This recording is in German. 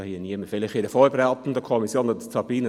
Vielleicht ist das in einer vorberatenden Kommission anders.